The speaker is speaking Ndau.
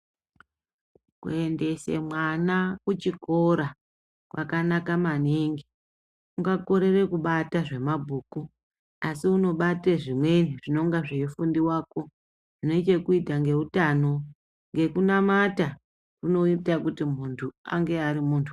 Kuendese mwana ku chikora kwakanaka maningi unga korera kubata zve mabhuku asi unobate zvimweni zvinonga zveyi fundiwako zvine chekuita nge utano ngekunamata kunoita kuti muntu ave ari muntu.